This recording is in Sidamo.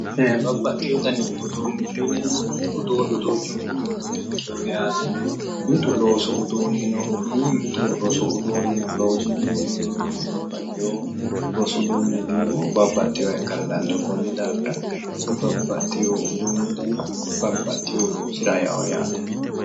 Babbaxeyo danni uduunicho yinneemmowoyte uduunu duuchunku mitto di'ikkino yaate mitu loosu uduuni no, mitu rosu uduuni no, loosu rosu uduune yineemmohu babbaxeyoha ikkara dandaano ,babbaxeyo dani uduunochi babbaxeyo loosira e'ano yaate